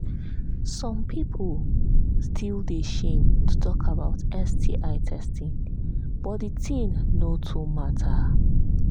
some people still they shame to talk about sti testing but the thing no too matter